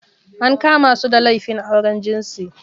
An kama su da laifin auren jinsi.